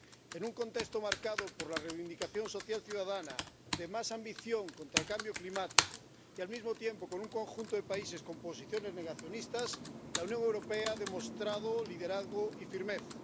En un contexto marcado por la reivindicación social ciudadana, de más ambición contra el cambio climático y, al mismo tiempo, con un conjunto de países con posiciones negacionistas, la Unión Europea ha demostrado liderazgo y firmeza.